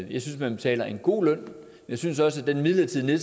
man betaler en god løn jeg synes også at den midlertidige